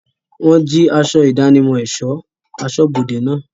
Wọ́n jí aṣọ ìdánimọ̀ ẹ̀sọ́ aṣọ́bodẹ̀ náà.